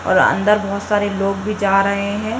और अंदर बहोत सारे लोग भी जा रहे हैं।